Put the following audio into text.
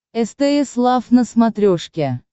стс лав на смотрешке